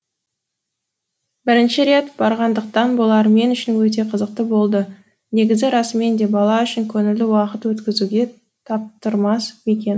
бірінші рет барғандықтан болар мен үшін өте қызықты болды негізі расымен де бала үшін көңілді уақыт өткізуге таптырмас мекен